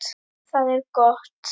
Það er gott